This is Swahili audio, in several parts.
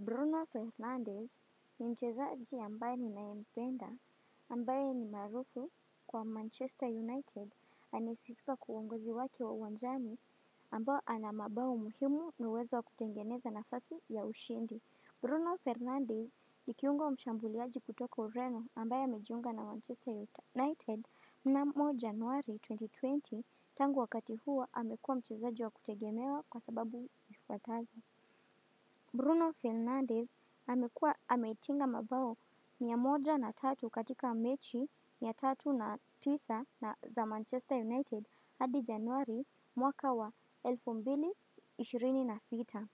Bruno Fernandez ni mchezaji ambaye ninaempenda ambaye ni marufu kwa Manchester United anayesifika kwa uwongozi waki wa wanjani ambao ana mabao muhimu na uwezo wa kutengeneza nafasi ya ushindi. Bruno Fernandez nikiunga mshambuliaji kutoka ureno ambaye amejiunga na Manchester United mnamo januari 2020 tangu wakati huo amekuwa mchezaji wa kutegemewa kwa sababu zifuatazo. Bruno Fernandez amekuwa ametinga mabao mia moja na tatu katika mechi mia tatu na tisa na za Manchester United hadi januari mwaka wa elfu mbili, ishirini na sita.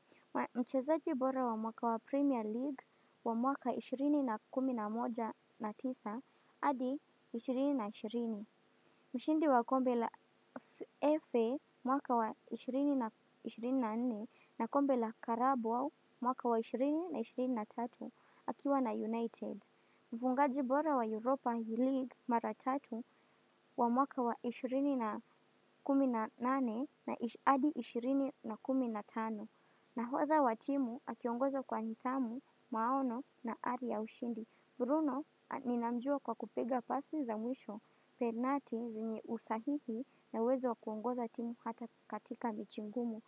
Mchezaji bora wa mwaka wa Premier League wa mwaka ishirini na kumi na moja na tisa hadi ishirini na ishirini. Mshindi wa kombe la EFE mwaka wa 20 na 24 na kombe la Karabo mwaka wa 20 na 23 akiwa na United. Mfungaji bora wa Europa League mara tatu wa mwaka wa 20 na 18 na adi 20 na 15 nahodha wa timu akiongozwa kwa nithamu maono na hali ya ushindi. Bruno ninamjua kwa kupiga pasi za mwisho penati zenye usahihi na uwezo wakuongoza timu hata katika michingumu.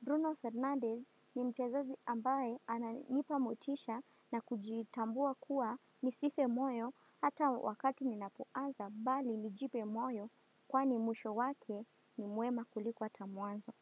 Bruno Fernandez ni mchezaji ambaye ananipa motisha na kujitambua kuwa nisife moyo hata wakati ninapuaza bali nijipe moyo kwa ni mwisho wake ni mwema kuliko hata muanzo.